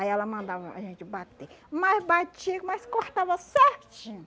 Aí ela mandava a gente bater, mas batia, mas cortava certinho.